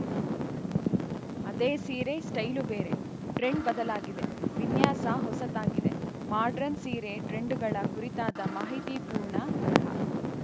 ಅದೇ ಸೀರೆ ಸ್ಟೈಲು ಬೇರೆ ಟ್ರೆಂಡ್‌ ಬದಲಾಗಿದೆ ವಿನ್ಯಾಸ ಹೊಸತಾಗಿದೆ ಮಾಡರ್ನ್‌ ಸೀರೆ ಟ್ರೆಂಡುಗಳ ಕುರಿತಾದ ಮಾಹಿತಿಪೂರ್ಣ ಬರಹ